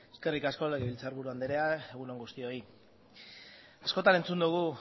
eskerrik asko legebiltzarburu andrea egun on guztioi askotan entzun dugu